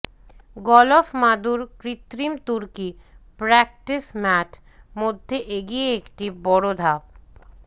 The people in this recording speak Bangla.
গলফ মাদুর কৃত্রিম তুর্কি প্র্যাকটিস ম্যাট মধ্যে এগিয়ে একটি বড় ধাপ